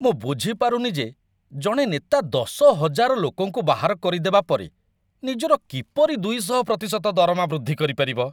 ମୁଁ ବୁଝିପାରୁନି ଯେ ଜଣେ ନେତା ୧୦,୦୦୦ ଲୋକଙ୍କୁ ବାହାର କରି ଦେବା ପରେ ନିଜର କିପରି ୨୦୦% ଦରମା ବୃଦ୍ଧି କରିପାରିବ।